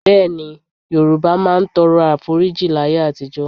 Bẹ́ẹ̀ni, Yorùbá máa ń tọrọ Àforíjì láyé àtijọ́.